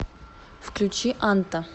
включи анта